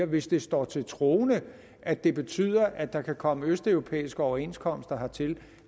hvis det står til troende at det betyder at der kan komme østeuropæiske overenskomster hertil